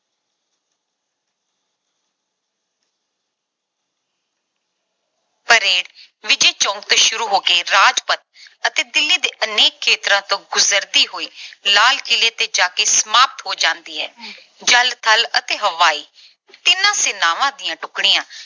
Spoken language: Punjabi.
parade ਵਿਜੈ ਚੌਂਕ ਤੋਂ ਸ਼ੁਰੂ ਹੋ ਕੇ ਰਾਜਪਥ ਅਤੇ ਦਿੱਲੀ ਦੇ ਅਨੇਕ ਖੇਤਰਾਂ ਤੋਂ ਗੁਜਰਦੀ ਹੋਈ ਲਾਲ ਕਿਲ੍ਹੇ ਤੇ ਜਾ ਕੇ ਸਮਾਪਤ ਹੋ ਜਾਂਦੀ ਹੈ। ਜਲ, ਥਲ ਅਤੇ ਹਵਾਈ ਤਿੰਨੋਂ ਸੈਨਾਵਾਂ ਦੀਆਂ ਟੁਕੜੀਆਂ